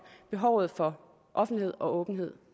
behovet for offentlighed og åbenhed